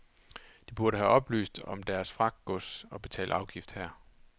De burde have oplyst om deres fragtgods og betalt afgift her.